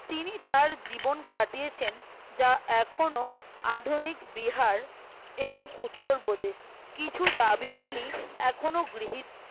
তিনি তার জীবন কাটিয়েছেন যা এখনো আধুনিক বিহার এবং উত্তরপ্রদেশ কিছু দাবি গুলি এখনও গৃহীত